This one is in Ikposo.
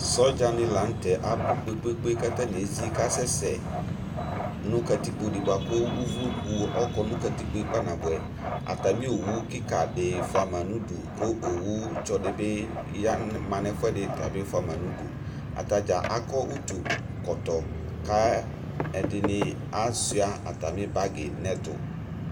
sɔdza ni latɛ abu kpékpékpé ka tani ézi kasɛsɛ nu katikoo di boa ku uvloku ɔkɔ nu katikpoé kpanaboɛ atami owu kika di foa ma nu udu ku owu tsɔ dibi ma nɛ ɛfoɛ ɖi tabi foa ma nudu atadza akɔ utu kɔtɔ ka ɛdini asua atami bagui nɛ ɛtu